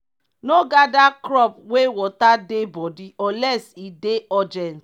no gather crop wey water dey body unless e dey urgent.